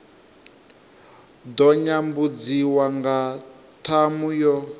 ḓo nyambudziwa nga ṱhamu yo